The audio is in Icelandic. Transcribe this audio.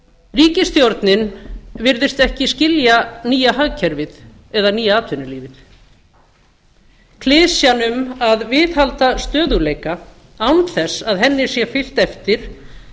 ríkisstjórnin virðist ekki skilja nýja hagkerfið eða nýja atvinnulífið klisjan um að viðhalda stöðugleika án þess að henni sé fylgt eftir